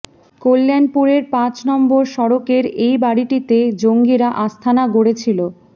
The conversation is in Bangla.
কল্যাণপুরের পাঁচ নম্বর সড়কের এই বাড়িটিতে জঙ্গিরা আস্তানা গড়েছিল